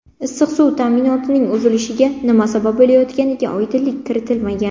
Issiq suv ta’minotining uzilishiga nima sabab bo‘layotganiga oydinlik kiritilmagan.